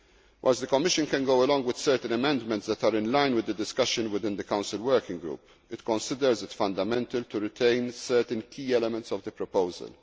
necessary. Whilst the Commission can go along with certain amendments that are in line with the discussion within the Council working group, it considers it fundamental to retain certain key elements of the